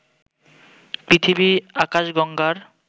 পৃথিবী আকাশগঙ্গার